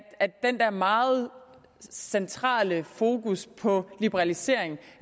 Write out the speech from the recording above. at det der meget centrale fokus på liberalisering